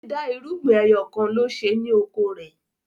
dida irúgbìn ẹyọkanlo ṣe ni oko rẹ.